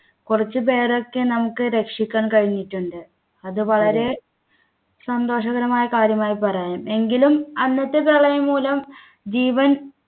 കുറച്ചു പേരൊക്കെ നമുക്ക് രക്ഷിക്കാൻ കഴിഞ്ഞിട്ടുണ്ട് അത് വളരെ സന്തോഷകരമായ കാര്യമായി പറയാം എങ്കിലും അന്നത്തെ പ്രളയം മൂലം ജീവൻ